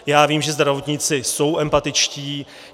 Já vím, že zdravotníci jsou empatičtí.